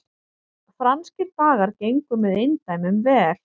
Franskir dagar gengu með eindæmum vel